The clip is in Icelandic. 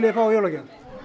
fá í jólagjöf